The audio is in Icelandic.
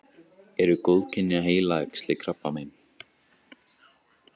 eru góðkynja heilaæxli krabbamein